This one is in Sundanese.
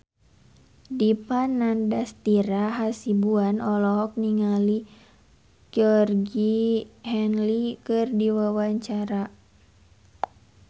Dipa Nandastyra Hasibuan olohok ningali Georgie Henley keur diwawancara